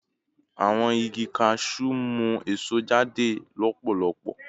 Awọn igi cashew mu eso jade lọpọlọpọ